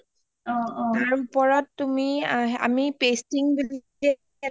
তাৰ উপৰত তুমি আমি pasting বুলি পেলাই